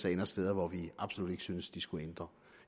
ender steder hvor vi absolut ikke synes de skulle